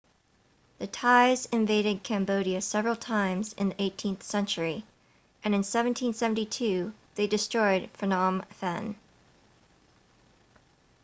the thais invaded cambodia several times in the 18th century and in 1772 they destroyed phnom phen